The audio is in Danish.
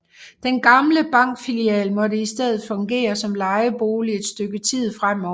Den gamle bankfilial måtte i stedet fungere som lejebolig et stykke tid fremover